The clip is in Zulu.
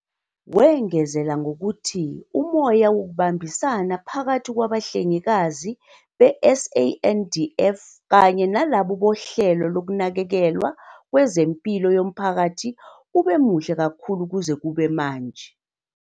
Wengeza ngokuthi umoya wokubambisana phakathi kwabahlengikazi be-SANDF kanye nalabo bohlelo lokunakekelwa kwezempilo yomphakathi ube muhle kakhulu kuze kube manje.